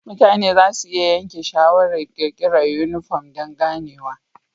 Mutane za su iya yanke shawarar ƙirƙirar yunifom don ganewa.